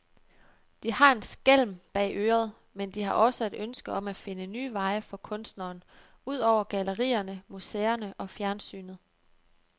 De har en skælm bag øret, men de har også et ønske om at finde nye veje for kunstneren, ud over gallerierne, museerne og fjernsynet.